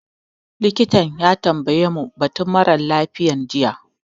Likitan ya tambaye mu batun mara lafiyan jiya